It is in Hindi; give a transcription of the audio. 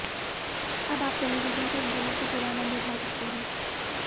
अब आप टेलीविजन पर इंटरनेट का पूरा आंनद उठा सकते हैं